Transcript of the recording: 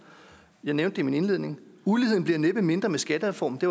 jeg nævnte i min indledning uligheden bliver næppe mindre med skattereformen det